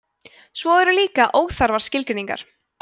svo eru líka óþarfar skilgreiningar